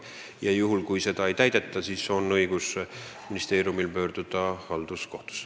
Juhul kui seda ei täideta, on ministeeriumil õigus pöörduda halduskohtusse.